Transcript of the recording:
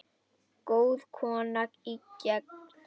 Góð kona er gengin.